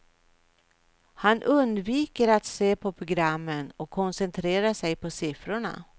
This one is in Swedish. Han undviker att se på programmen och koncentrerar sig på siffrorna.